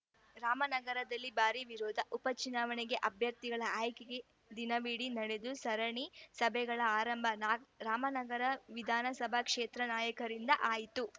ರಾಮನಗರದಲ್ಲಿ ಭಾರಿ ವಿರೋಧ ಉಪ ಚುನಾವಣೆಗೆ ಅಭ್ಯರ್ಥಿಗಳ ಆಯ್ಕೆಗೆ ದಿನವಿಡೀ ನಡೆದು ಸರಣಿ ಸಭೆಗಳ ಆರಂಭ ನ ರಾಮನಗರ ವಿಧಾನಸಭಾ ಕ್ಷೇತ್ರದ ನಾಯಕರಿಂದ ಆಯಿತು